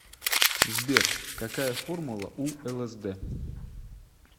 сбер какая формула у лсд